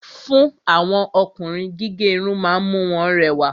Fún àwọn Ọkùnrin, gígé Irun ma ń mú wọn rẹwà